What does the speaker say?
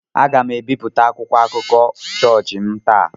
Aga m ebipụta akwụkwọ akụkọ chọọchị m taa.